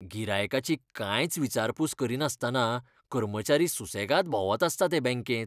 गिरायकाची कांयच विचारपूस करिनासतना कर्मचारी सुसेगाद भोंवत आसतात हे बँकेंत.